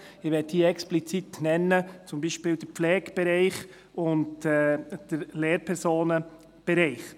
Ich möchte hier zum Beispiel explizit den Pflegebereicht und den Lehrpersonenbereich nennen.